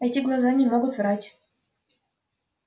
эти глаза не могут врать